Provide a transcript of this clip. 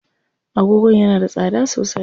Agogon yana da tsada sosai.